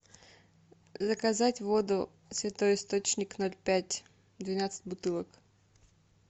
заказать воду святой источник ноль пять двенадцать бутылок